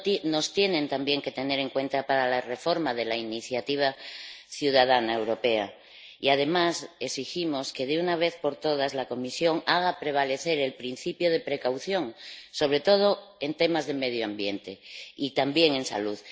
Nos tienen también que tener en cuenta para la reforma de la iniciativa ciudadana europea y, además, exigimos que, de una vez por todas, la Comisión haga prevalecer el principio de precaución, sobre todo en temas de medio ambiente y también en salud.